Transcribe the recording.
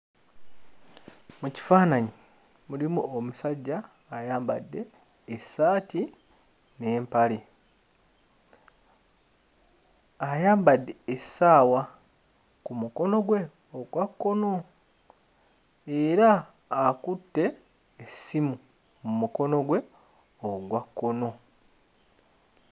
Mu kifaananyi mulimu omusajja ayambadde essaati n'empale, ayambadde essaawa ku mukono gwe ogwa kkono era akutte essimu mu mukono gwe ogwa kkono.